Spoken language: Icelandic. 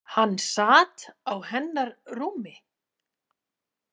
Hann sat á hennar rúmi!